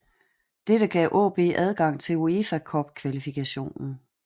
Dette gav AaB adgang til UEFA Cup kvalifikationen